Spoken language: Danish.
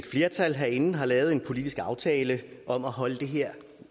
flertal herinde har lavet en politisk aftale om at holde det her